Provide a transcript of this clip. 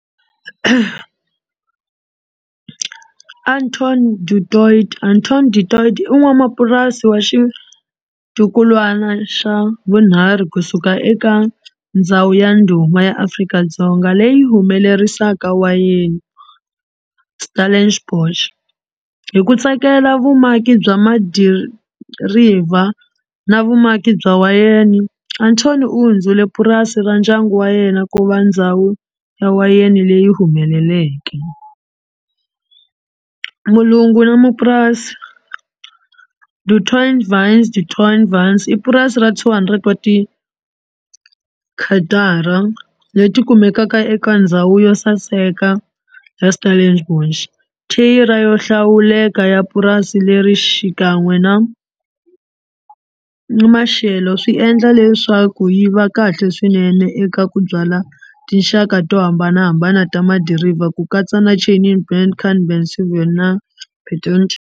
Anton Anton i n'wamapurasi wa xitukulwana xa vunharhu kusuka eka ndhawu ya ndhuma ya Afrika-Dzonga leyi humelerisaka wayeni Stellenbosch. Hi ku tsakela vumaki bya madiriva na vumaki bya wayeni Anton u hundzile purasi ra ndyangu wa yena ku va ndhawu ya wayeni leyi humeleleke. Mulungu na mapurasi i purasi ra two hundred wa tikatara leti kumekaka eka ndhawu yo saseka ra Stellenbosch thayere yo hlawuleka ya purasi leri xikan'we na na maxelo swi endla leswaku yi va kahle swinene eka ku byala tinxaka to hambanahambana ta madiriva ku katsa na na .